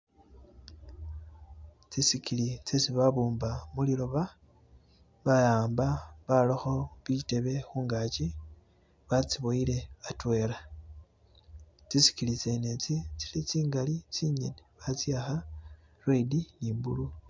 tsisigili tsesi babumba muliloba bahamba baraho zitebe mugankyi batsiboyele atwela, tsisigili tsene tsi tsingali tsinyene batsiyaha redi ni blue.